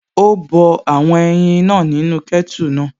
Ó bọ àwọn ẹyin náà nínú kẹ́tù náà